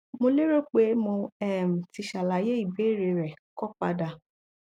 mo lérò pé mo um tí ṣàlàyé ìbéèrè rẹ kọ padà